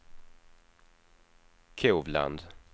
Kovland